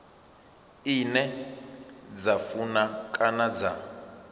ine dza funa kana dza